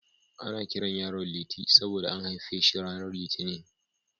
Ana kiran yaron Liti saboda an haife shi ranar Litinin.